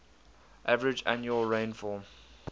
average annual rainfall